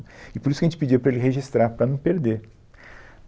E por isso que a gente pediu para ele registrar, para não perder.